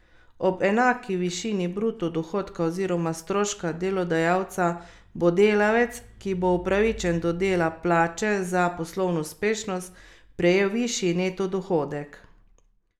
Ob enaki višini bruto dohodka oziroma stroška delodajalca bo delavec, ki bo upravičen do dela plače za poslovno uspešnost, prejel višji neto dohodek.